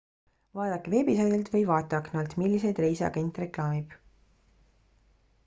vaadake veebisaidilt või vaateaknalt milliseid reise agent reklaamib